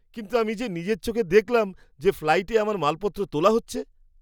কিন্তু আমি যে নিজের চোখে দেখলাম যে ফ্লাইটে আমার মালপত্র তোলা হচ্ছে!